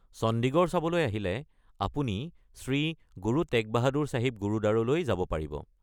চণ্ডীগড় চাবলৈ আহিলে আপুনি শ্ৰী গুৰু টেগ বাহাদুৰ ছাহিব গুৰুদ্বাৰলৈ যাব পাৰিব।